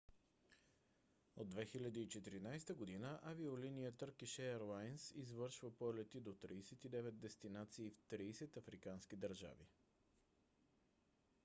от 2014 г. авиолония търкиш еърлайнс извършва полети до 39 дестинации в 30 африкански държави